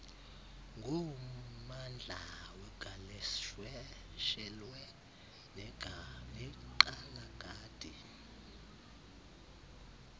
ngommandla wegaleshewe nekgalagadi